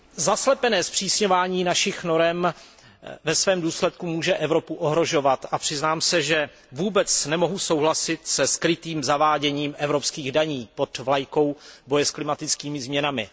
Zaslepené zpřísňování našich norem ve svém důsledku může Evropu ohrožovat a přiznám se, že vůbec nemohu souhlasit se skrytým zaváděním evropských daní pod vlajkou boje s klimatickými změnami.